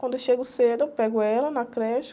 Quando eu chego cedo, eu pego ela na creche.